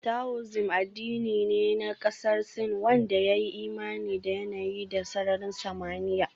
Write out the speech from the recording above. Taoism addini ne na kasar Sin wanda ya yi imani da yanayi da sararin samaniya